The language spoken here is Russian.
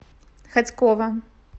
хотьково